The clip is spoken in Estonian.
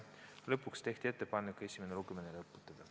Lõpuks tehti konsensuslik ettepanek esimene lugemine lõpetada.